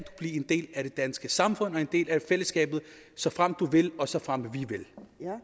en del er det danske samfund og en del af fællesskabet såfremt du vil og såfremt vi vil